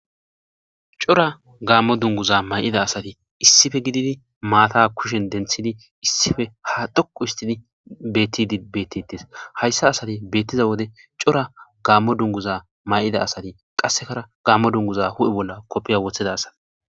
cora gaammo dunguza may7ida asati issife gididi maata kushen denthidi issife ha dhoqu histidi bettidi bettettes hayssa asati beettiza wode cora gaammo dunguza may7ida asati qassekara gaammo dunguza hu7e bolla koppiya woththeda asati